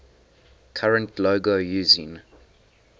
current logo using